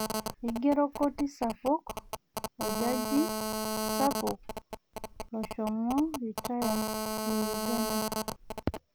Eigero koti sapuk orjaji sapuk loshomo ritaya le uganda